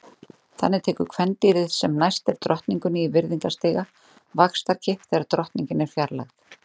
Þannig tekur kvendýrið sem næst er drottningunni í virðingarstiga vaxtarkipp þegar drottningin er fjarlægð.